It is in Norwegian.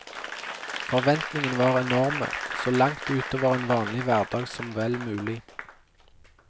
Forventningene var enorme, så langt utover en vanlig hverdag som vel mulig.